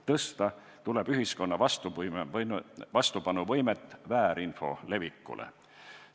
Tõsta tuleb ühiskonna võimet väärinfo levikule vastu seista.